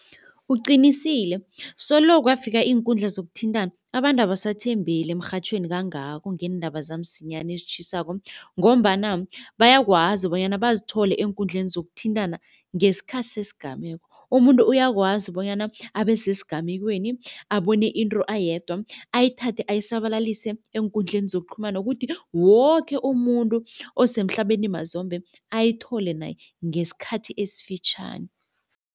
Uqinisile, solo kwafika iinkundla zokuthintana abantu abasathembeli emrhatjhweni kangako ngeendaba zamsinyana ezitjhisako ngombana bayakwazi bonyana bazithole eenkundleni zokuthintana ngesikhathi sesigameko. Umuntu uyakwazi bonyana abesesigamekweni abone into ayedwa ayithathe ayisabalise eenkundleni zokuqhumana ukuthi woke umuntu osemhlabeni mazombe ayithole naye ngesikhathi esifitjhani.